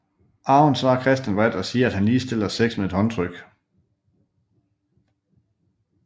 Aaron svarer Christian vredt og siger at han ligestiller sex med et håndtryk